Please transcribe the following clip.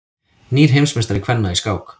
Nýr heimsmeistari kvenna í skák